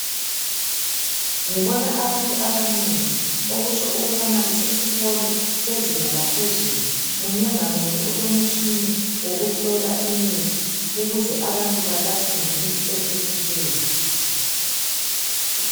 Abantu abanengi okutsho ukubana kusesikolo sezinga laphezulu .Munye ngamunye ulomtshina wokuhlola imithi ukuze abantu balatshwe ngemithi ephephileyo.